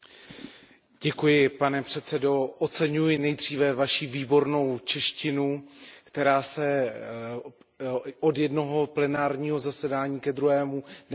Pane předsedající, oceňuji nejdříve Vaši výbornou češtinu, která se od jednoho plenárního zasedání ke druhému neustále zlepšuje.